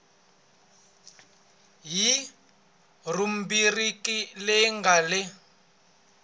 hi rhubiriki leyi nga le